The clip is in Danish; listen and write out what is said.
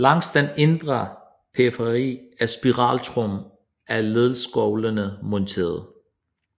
Langs den indre periferi af spiraltrommen er ledeskovlene monterede